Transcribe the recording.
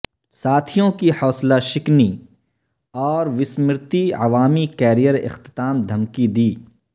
ساتھیوں کی حوصلہ شکنی اور وسمرتی عوامی کیریئر اختتام دھمکی دی